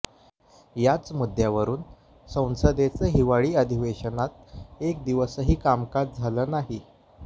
याच मुद्द्यावरून संसदेचं हिवाळी अधिवेशनात एक दिवसही कामकाज झालं नाही